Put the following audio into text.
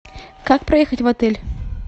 как проехать в отель